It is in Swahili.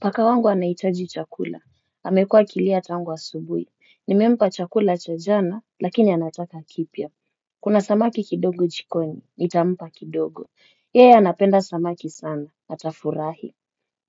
Paka wangu anahitaji chakula, amekua akilia tangu asubuhi, nimempa chakula cha jana, lakini anataka kipya. Kuna samaki kidogo jikoni, nitampa kidogo, yeye anapenda samaki sana, atafurahi.